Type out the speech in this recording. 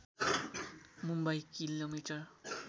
मुम्बई किमि